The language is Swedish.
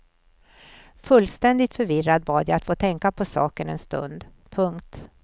Fullständigt förvirrad bad jag att få tänka på saken en stund. punkt